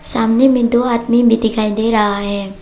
सामने में दो आदमी भी दिखाई दे रहा है।